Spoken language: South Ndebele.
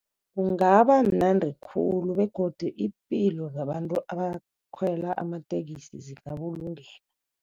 Kungaba mnandi khulu begodu iimpilo zabantu abakhwela amatekisi zingabulungeka.